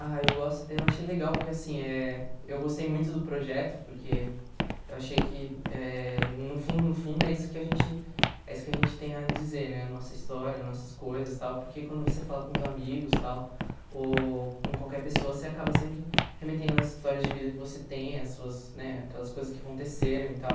Ah, eu gosto, eu achei legal, porque assim, eh eu gostei muito do projeto, porque eu achei que, eh no fundo, no fundo, é isso que a gente é isso que a gente tem a dizer, né, a nossa história, as nossas coisas e tal, porque quando você fala com os amigos e tal, ou com qualquer pessoa, você acaba sempre remetendo as histórias de vida que você tem, as suas né aquelas coisas que aconteceram e tal.